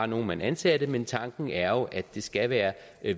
nogle man ansatte men tanken er jo at det skal være